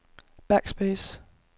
backspace